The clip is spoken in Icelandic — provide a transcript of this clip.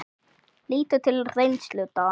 Lítum til reynslu Dana.